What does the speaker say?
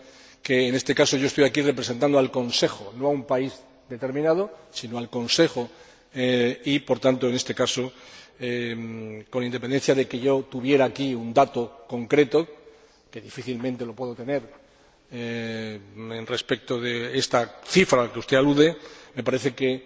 Sabe que, en este caso estoy aquí representando al Consejo, no a un país determinado, sino al Consejo y, por tanto, en este caso, con independencia de que tuviera aquí un dato concreto, que difícilmente lo puedo tener respecto de esta cifra a la que usted alude, me parece que